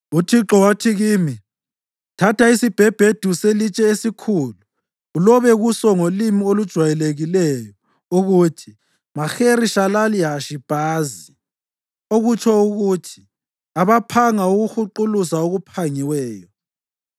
UThixo wathi kimi, “Thatha isibhebhedu selitshe esikhulu ulobe kuso ngolimi olujwayelekileyo ukuthi: Maheri-Shalali-Hashi-Bhazi (okutsho ukuthi: abaphanga ukuhuquluza okuphangiweyo).